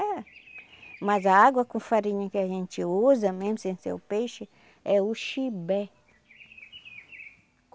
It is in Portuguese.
É. Mas a água com farinha que a gente usa, mesmo sem ser o peixe, é o chibé.